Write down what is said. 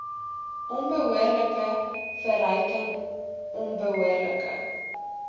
onbehoorlike verryking onbehoorlike